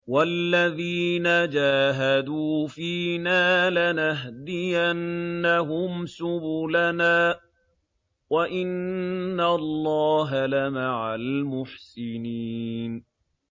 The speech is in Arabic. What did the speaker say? وَالَّذِينَ جَاهَدُوا فِينَا لَنَهْدِيَنَّهُمْ سُبُلَنَا ۚ وَإِنَّ اللَّهَ لَمَعَ الْمُحْسِنِينَ